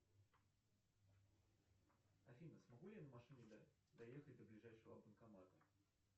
афина смогу ли я на машине доехать до ближайшего банкомата